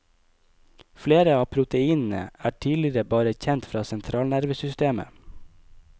Flere av proteinene er tidligere bare kjent fra sentralnervesystemet.